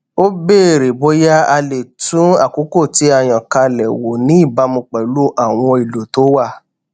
ó béèrè bóyá a lè tún àkókò tí a yàn kalẹ wò ní ìbámu pẹlú àwọn ohun èlò tó wà